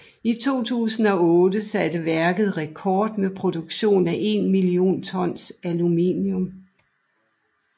I 2008 satte værket rekord med produktion af 1 million tons aluminium